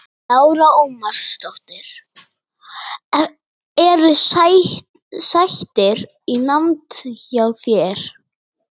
Lára Ómarsdóttir: Eru sættir í nánd hjá þér?